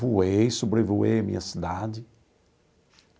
Voei, sobrevoei a minha cidade.